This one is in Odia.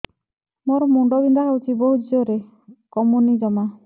ମୋର ମୁଣ୍ଡ ବିନ୍ଧା ହଉଛି ବହୁତ ଜୋରରେ କମୁନି ଜମା